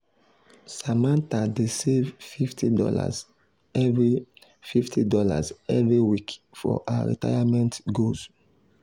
samantha dey save fifty dollar every fifty dollar every week for her retirement goals.